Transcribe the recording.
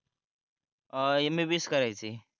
अं MBBS करायच आहे